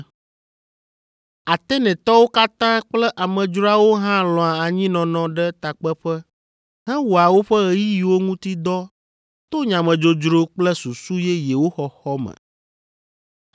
(Atenetɔwo katã kple amedzroawo hã lɔ̃a anyinɔnɔ ɖe takpeƒe hewɔa woƒe ɣeyiɣiwo ŋuti dɔ to nyamedzodzro kple susu yeyewo xɔxɔ me.)